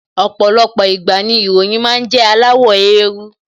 Ọ̀pọ̀lọpọ̀ ìgbà ni ìwé ìròyìn máa ń jẹ́ aláwọ̀ éérú